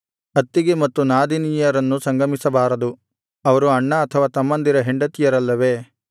ಅತ್ತಿಗೆ ಮತ್ತು ನಾದಿನಿಯರನ್ನು ಸಂಗಮಿಸಬಾರದು ಅವರು ಅಣ್ಣ ಅಥವಾ ತಮ್ಮಂದಿರ ಹೆಂಡತಿಯರಲ್ಲವೇ